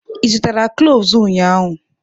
Ị zụtara cloves ụnyaahụ?